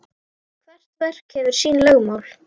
Hvert verk hefur sín lögmál.